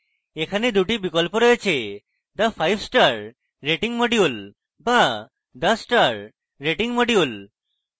এখনে দুটি বিকল্প রয়েছেthe fivestar rating module বা the star rating module